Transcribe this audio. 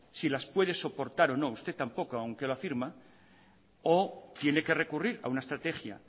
si las puede soportar o no usted tampoco aunque lo afirma o tiene que recurrir a una estrategia